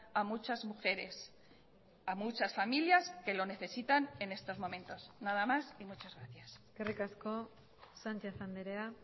a muchas mujeres a muchas familias que lo necesitan en estos momentos nada más y muchas gracias eskerrik asko sánchez andrea